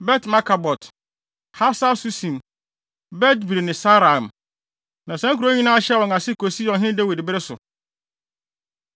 Bet-Markabot, Hasar-Susim, Bet-Biri ne Saaraim. Na saa nkurow yi nyinaa hyɛɛ wɔn ase kosii ɔhene Dawid bere so.